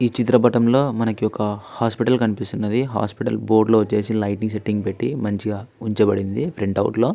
ఈ చిత్రపటంలో మనకి ఒక హాస్పిటల్ కనిపిస్తున్నది హాస్పిటల్ లో బోర్డుకి వచ్చేసి మంచి లైటింగ్స్ అవి పెట్టి మంచిగా ఉంచుబడింది ప్రింట్ అవుట్ లో --